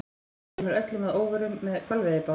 Hann kemur öllum að óvörum- með hvalveiðibát!